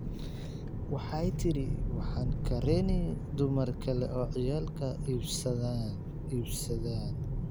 Waxay tire waxan kareni dumar kale oo ciyalka iibsadhan.